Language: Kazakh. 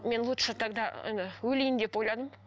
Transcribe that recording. мен лучше тогда енді өлейін деп ойладым